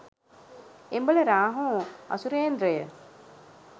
එම්බල Rahu අසුරේන්ද්‍රය,